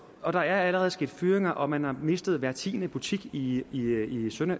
at der allerede er sket fyringer og at man har mistet hver tiende butik i